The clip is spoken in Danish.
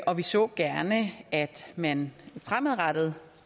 og vi så gerne at man fremadrettet